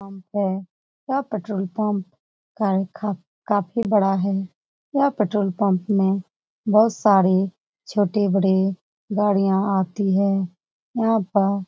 petrol pump है यह petrol pump ख़फ़ी बड़ा है यह पेट्रोल पंप में बहूत सारे छोटे बड़े गाड़ियाँ आती है यहाँ पर --